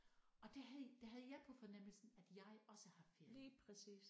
Og der havde der havde jeg på fornemmelsen at jeg også har ferie